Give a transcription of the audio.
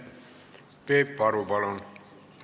Peep Aru, palun!